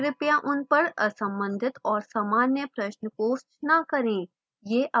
कृपया उन पर असंबंधित और सामान्य प्रश्न post न करें